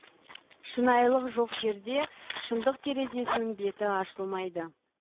шынайылық жоқ жерде шындық терезесінің беті ашылмайды